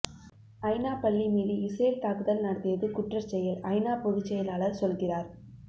ஐநா பள்ளி மீது இஸ்ரேல் தாக்குதல் நடத்தியது குற்றச்செயல் ஐநா பொதுச்செயலாளர் சொல்கிறார்